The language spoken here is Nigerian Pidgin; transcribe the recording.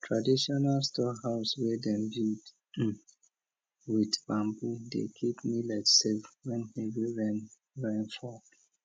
traditional storehouse wey dem build with bamboo dey keep millet safe when heavy rain rain fall